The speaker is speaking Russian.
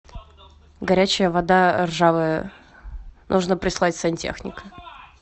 горячая вода ржавая нужно прислать сантехника